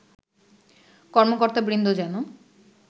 কর্মকর্তাবৃন্দ যেন